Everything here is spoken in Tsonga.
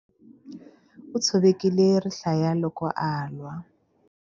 U tshovekile rihlaya loko a lwa.